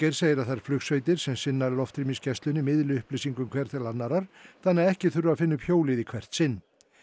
segir að þær flugsveitir sem sinna loftrýmisgæslunni miðli upplýsingum hver til annarrar þannig að ekki þurfi að finna upp hjólið í hvert sinn